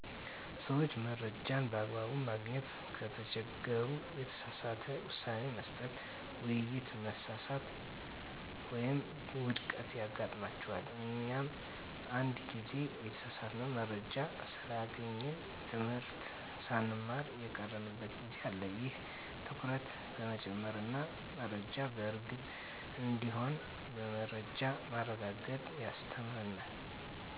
ሰዎች መረጃን በአግባቡ ማግኘት ከተቸገሩ፣ የተሳሳተ ውሳኔ መስጠት፣ ውይይት መሳሳት ወይም ውድቀት ያጋጥማቸዋል። እኛም አንድ ጊዜ የተሳሳተ መረጃ ስላገኘን ትምህርት ሳንማር የቀረንበት ጊዜ አለ። ይህ ትኩረት በመጨመር እና መረጃ በእርግጥ እንዲሆን በመረጃ ማረጋገጥ ያስተምረናል።